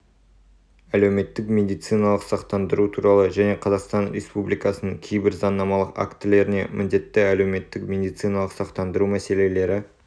әлеуметтік медициналық сақтандыру туралы және қазақстан республикасының кейбір заңнамалық актілеріне міндетті әлеуметтік медициналық сақтандыру мәселелері